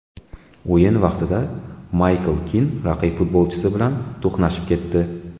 O‘yin vaqtida Maykl Kin raqib futbolchisi bilan to‘qnashib ketdi.